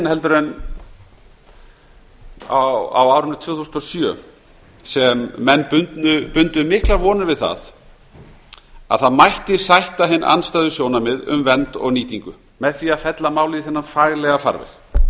heldur en á árinu tvö þúsund og sjö sem menn bundu miklar vonir við að það mætti sætta hin andstæðu sjónarmið um vernd og nýtingu með því að fella málið í þennan faglega farveg